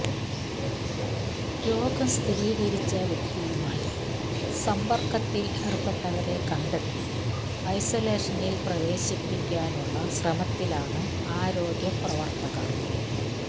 രോഗം സ്ഥിരീകരിച്ച വ്യക്തിയുമായി സമ്പർക്കത്തിൽ ഏർപ്പെട്ടവരെ കണ്ടെത്തി ഐസൊലേഷനിൽ പ്രവേശിപ്പിക്കാനുള്ള ശ്രമത്തിലാണ് ആരോഗ്യ പ്രവർത്തകർ